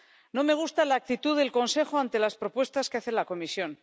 No me gusta la actitud del Consejo ante las propuestas que hace la Comisión.